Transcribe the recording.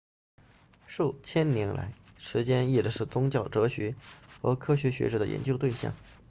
数千年来时间一直是宗教哲学和科学学者的研究对象